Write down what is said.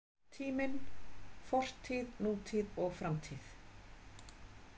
Tíminn: Fortíð, nútíð og framtíð.